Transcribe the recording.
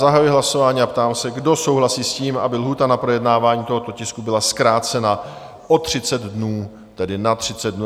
Zahajuji hlasování a ptám se, kdo souhlasí s tím, aby lhůta na projednávání tohoto tisku byla zkrácena o 30 dnů, tedy na 30 dnů?